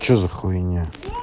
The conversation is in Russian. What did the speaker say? что за хуйня